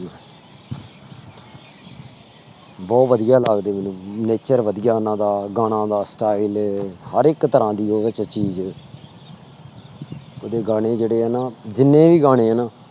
ਬਹੁਤ ਵਧੀਆ ਲੱਗਦਾ ਹੈ nature ਵਧੀਆ ਉਹਨਾਂ ਦਾ ਗਾਣਾ ਦਾ style ਹਰ ਇੱਕ ਤਰ੍ਹਾਂ ਦੀ ਉਹਦੇ ਚ ਚੀਜ਼ ਉਹਦੇ ਗਾਣੇ ਜਿਹੜੇ ਹੈ ਨਾ ਜਿੰਨੇ ਵੀ ਗਾਣੇ ਹੈ ਨਾ